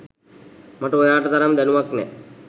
මට ඔයාට තරම් දැනුමක් නෑ.